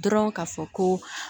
Dɔrɔn ka fɔ ko